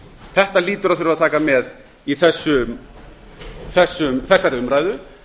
þetta hlýtur að þurfa að taka með í þessari umræðu